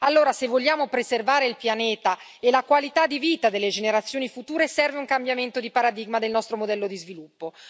Allora, se vogliamo preservare il pianeta e la qualità di vita delle generazioni future serve un cambiamento di paradigma del nostro modello di sviluppo.